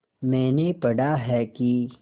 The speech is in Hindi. मैंने पढ़ा है कि